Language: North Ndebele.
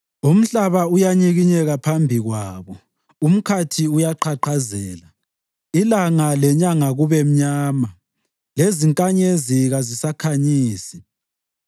Umhlaba uyanyikinyeka phambi kwabo; umkhathi uyaqhaqhazela, ilanga lenyanga kube mnyama, lezinkanyezi kazisakhanyisi.